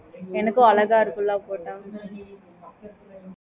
okay mam